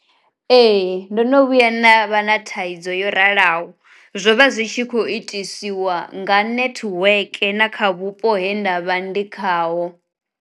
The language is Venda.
Ee ndo no vhuya nda vha na thaidzo yo ralaho, zwovha zwitshi kho itisiwa nga nethiweke na kha vhupo he ndavha ndi khaho.